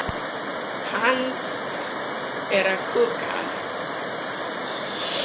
Verða allir klárir í fyrsta leik?